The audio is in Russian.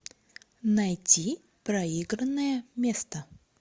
найти проигранное место